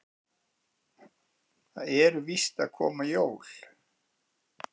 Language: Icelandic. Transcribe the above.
Það eru víst að koma jól.